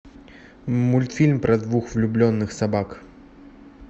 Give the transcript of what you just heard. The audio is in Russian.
мультфильм про двух влюбленных собак